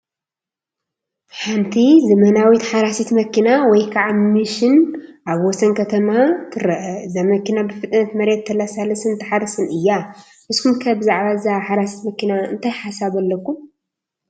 ሓንቲ ዘመናዊት ሓራሲት መኪና ወይ ከዓ ሚሽን ኣብ ወሰን ከተማ ትረአ፡፡ እዛ መኪና ብፍጥነት መሬት ተለሳልስን ትሓርስን እያ፡፡ ንስኹም ከ ብዛዕባ እዛ ሓራሲት መኪና እንታይ ሓሳብ ኣለኩም?